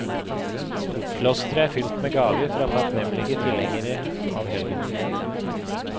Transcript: Klosteret er fylt med gaver fra takknemlige tilhengere av helgenen.